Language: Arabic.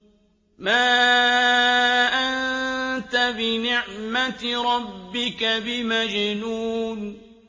مَا أَنتَ بِنِعْمَةِ رَبِّكَ بِمَجْنُونٍ